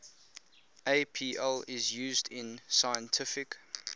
apl is used in scientific